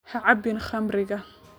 Ha cabbin khamriga.